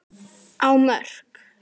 á Mörk.